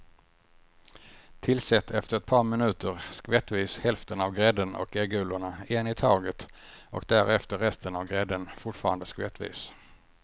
Tillsätt efter ett par minuter skvättvis hälften av grädden och äggulorna en i taget och därefter resten av grädden, fortfarande skvättvis.